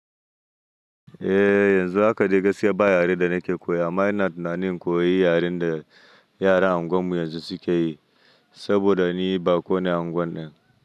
Eh yanzu haka dai gaskiya ba yaren da nake koya amma ina tunanin in koyi yaren da yaran unguwan mu yanzu suke yi, saboda ni baƙo ne a unguwan ɗin.